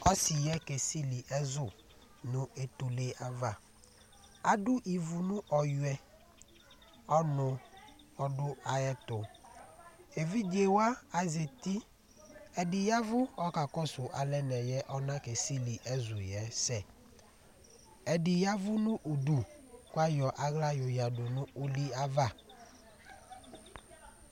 Asɩ yɛ kesili ɛzʋ nʋ etule ava Adʋ ivu nʋ ɔyʋɛ , ɔnʋ ɔdʋ ayɛtʋ Evidzewa azati :ɛdɩ yavʋ k'ɔka kɔsʋ alɛna yɛ ɔna ke sili ɛzʋ yɛ sɛ Ɛdɩ yavʋ nʋ udu k'ayɔ aɣla yoyǝdu nʋ ugliyɛ ava